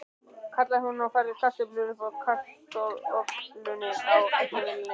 kallaði hún og færði kartöflur upp úr kastarolunni á eldavélinni.